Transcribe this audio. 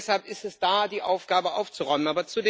Und deshalb ist es da die Aufgabe aufzuräumen.